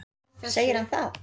Segir hann það?